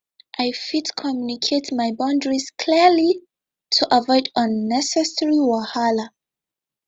i fit communicate my boundaries clearly to avoid unnecessary wahala